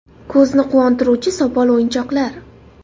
Ko‘zni quvontiruvchi sopol o‘yinchoqlar.